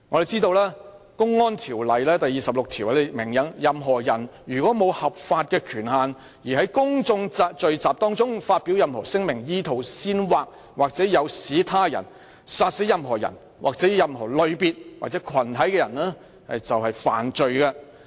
根據《公安條例》第26條，任何人如無合法權限而在公眾聚集中發表任何聲明，意圖煽惑或誘使他人殺死任何人或任何類別或群體的人，即屬犯罪。